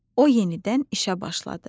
O yenidən işə başladı.